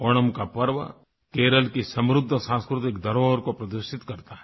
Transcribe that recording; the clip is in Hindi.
ओणम का पर्व केरल की समृद्ध सांस्कृतिक धरोहर को प्रदर्शित करता है